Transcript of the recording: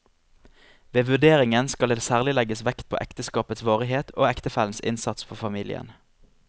Ved vurderingen skal det særlig legges vekt på ekteskapets varighet og ektefellens innsats for familien.